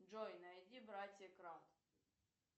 джой найди братья крант